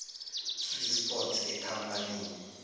swiss port ekhampanini